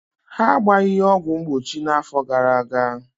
Ha agbaghi ya ọgwụ mgbochi na-afọ gara-aga.